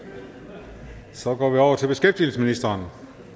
så går vi over til beskæftigelsesministeren